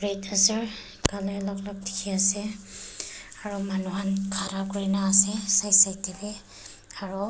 color alak alak dikhi ase aro manu khan khara kurina ase side side tey wi aro--